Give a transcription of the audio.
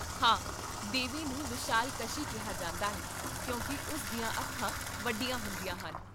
ਹਾਂ, ਦੇਵੀ ਨੂੰ ਵਿਸ਼ਾਲਾਕਸ਼ੀ ਕਿਹਾ ਜਾਂਦਾ ਹੈ ਕਿਉਂਕਿ ਉਸ ਦੀਆਂ ਅੱਖਾਂ ਵੱਡੀਆਂ ਹੁੰਦੀਆਂ ਹਨ